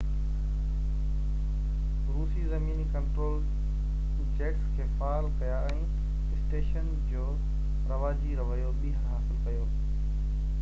روسي زميني control jets کي فعال ڪيا ۽ اسٽيشن جو رواجي رويو ٻيهر حاصل ڪيو